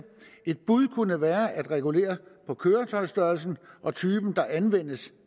et bud kunne være at regulere på køretøjsstørrelsen og typen der anvendes